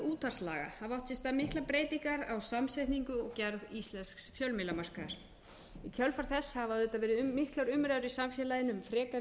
útvarpslaga hafa sér stað miklar breytingar á samsetningu og gerð íslensks fjölmiðlamarkaðar í kjölfar þess hafa auðvitað verið miklar umræður í samfélaginu um frekari